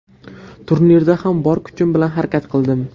Turnirda ham bor kuchim bilan harakat qildim.